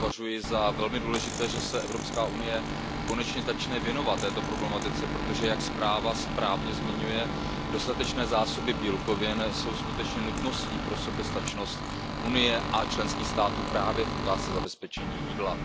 Považuji za velmi důležité, že se EU konečně začne věnovat této problematice, protože jak zpráva správně zmiňuje dostatečné zásoby bílkovin jsou skutečně nutností pro soběstačnost Unie a členských států právě v otázce zabezpečení jídla.